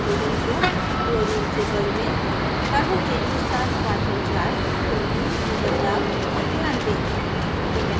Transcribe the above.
hydrogen को chlorine से बदलें carbon chain के साथ partial charge की value में बदलाव पर ध्यान दें